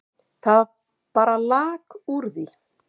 Það bara lak úr því.